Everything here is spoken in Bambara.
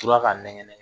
Tora ka nɛgɛn